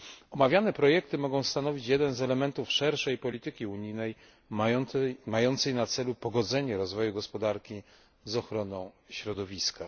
Omawiane projekty mogą stanowić jeden z elementów szerszej polityki unijnej mającej na celu pogodzenie rozwoju gospodarki z ochroną środowiska.